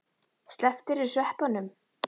Slepptirðu sveppunum?